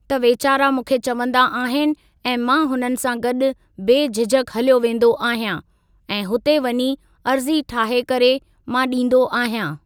त वेचारा मूंखे चवंदा आहिनि ऐं मां हुननि सां गॾु बेझिझक हलियो वेंदो आहियां ऐं हुते वञी अर्ज़ी ठाहे करे मां ॾींदो आहियां।